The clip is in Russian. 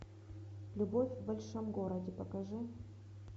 любовь в большом городе покажи